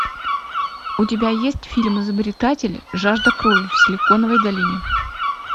у тебя есть фильм изобретатель жажда крови в силиконовой долине